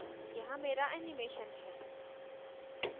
यहाँ here animation है